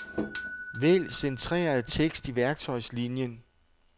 Vælg centreret tekst i værktøjslinien.